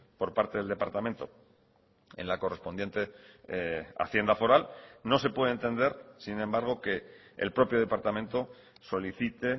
por parte del departamento en la correspondiente hacienda foral no se puede entender sin embargo que el propio departamento solicite